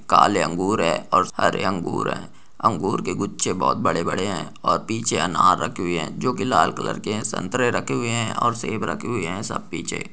काले अंगूर है और हरे अंगूर है अंगूर के गुच्छे बहुत बड़े-बड़े है और पीछे अनार रखे हुए है जो कि लाल कलर के है संतरे रखे हुए है और सेब रखे हुए है सब पीछे।